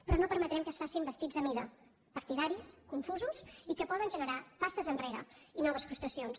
però no permetrem que es facin vestits a mida partidaris confusos i que poden generar passes enrere i noves frustracions